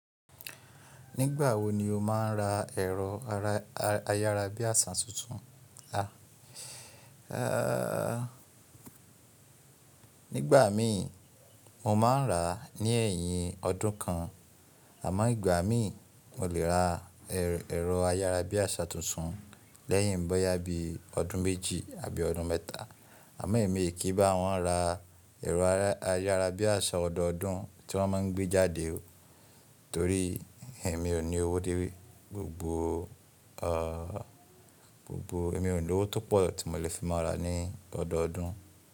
Nígbà wo ni o máa ń ra ẹ̀rọ ayárabíàṣá tuntun? A, ehhh, nígbà mí mo máa ń rà á ní ẹ̀yìn ọdún kan, àmọ́ ìgbà mí mo lè ra ẹ̀rọ ayárabíàṣá tuntun lẹ́yìn bọ́yá bí ọdún méjì àbí ọdún mẹ́ta. Àmọ́ èmi kì í bá wọn ra ẹ̀rọ ayárabíàṣá ọdọọdún tí wọ́n máa ń gbé jáde o, torí èmi ò ní owó dé gbogbo o, gbogbo èmi ò ní owó tó pọ̀ tí mo lè fi máa rà á ní ọdọọdún.